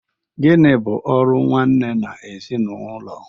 Gịnị bụ ọrụ nwanne n'ezinụlọ?